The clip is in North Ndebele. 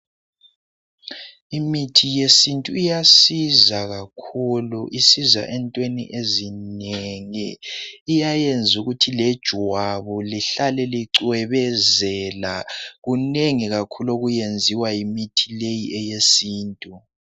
Imithi esintu iyasiza kakhulu isiza entweni ezinengi iyayenza ukuthi lejwabu lihlale lincwebezela kunengi kakhulu okwenziwa yimithi leyi yesintu.